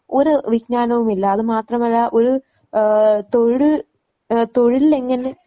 ഒരു വിജ്ഞാനവുമില്ല. അതുമാത്രമല്ല ഒരു ഏഹ് തൊഴിൽ ഏഹ് തൊഴിലിൽ എങ്ങനെ